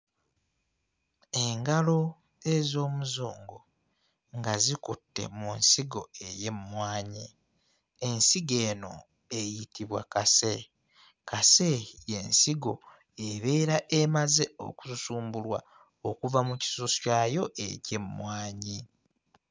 Engalo ez'Omuzungu nga zikutte mu nsigo ey'emmwanyi. Ensigo eno eyitibwa kase. Kase y'ensigo ebeera emaze okususumbulwa okuva mu kisusu kyayo eky'emmwanyi.